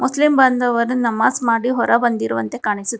Muslim ಬಾಂಧವರು ನಮಾಜ್ ಮಾಡಿ ಹೊರಬಂದಿರುವಂತೆ ಕಾಣಿಸುತ್ತಿ--